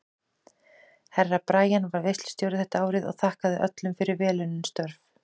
Herra Brian var veislustjóri þetta árið og þakkaði öllum fyrir vel unnin störf.